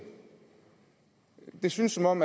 det synes som om